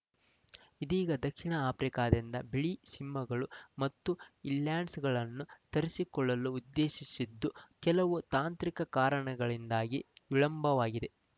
ಇದೀಗ ದಕ್ಷಿಣ ಆಫ್ರಿಕಾದಿಂದ ಬಿಳಿ ಸಿಂಹಗಳು ಮತ್ತು ಇಲ್ಯಾಂಡ್ಸ್‌ಗಳನ್ನು ತರಿಸಿಕೊಳ್ಳಲು ಉದ್ದೇಶಿಸಿದ್ದು ಕೆಲವು ತಾಂತ್ರಿಕ ಕಾರಣಗಳಿಂದಾಗಿ ವಿಳಂಬವಾಗಿದೆ